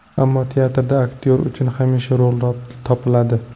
Ammo teatrda aktyor uchun hamisha rol topiladi.